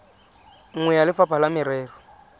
nngwe ya lefapha la merero